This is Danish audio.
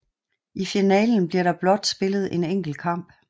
I finalen bliver der blot spillet én enkelt kamp